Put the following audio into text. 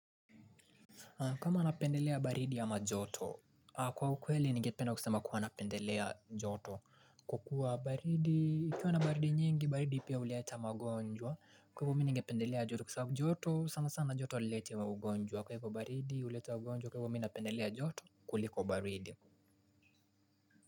Kama napendelea baridi ama joto, kwa ukweli ningependa kusema kuwa napendelea joto. Kwa kuwa baridi, kukiwa na baridi i mingi, baridi pia huleta magonjwa. Kwa hivyo mimi ningependelea joto, sanasana joto haileti magonjwa. Baridi huleta ugonjwa kwa hio mimi napendelea joto kuliko baridi.